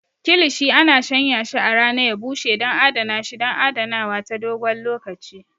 Kilishi ana shanyashi a rana ya bushe don adana shi don adanawa ta dogon lokaci.